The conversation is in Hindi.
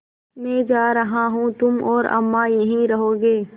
मैं जा रहा हूँ तुम और अम्मा यहीं रहोगे